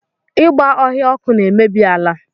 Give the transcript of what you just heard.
Ịgba ọhịa ọkụ na-emebi ala